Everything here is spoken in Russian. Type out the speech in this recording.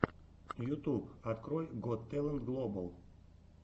ютюб открой гот тэлэнт глобал